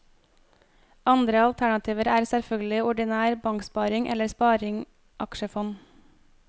Andre alternativer er selvfølgelig ordinær banksparing eller sparing aksjefond.